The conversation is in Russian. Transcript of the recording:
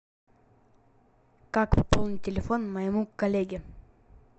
как пополнить телефон моему коллеге